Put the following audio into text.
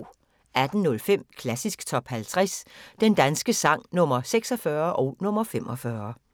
18:05: Klassisk Top 50 Den danske sang – Nr. 46 og nr. 45